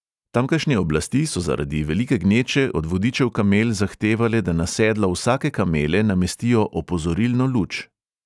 Tamkajšnje oblasti so zaradi velike gneče od vodičev kamel zahtevale, da na sedlo vsake kamele namestijo opozorilno luč ...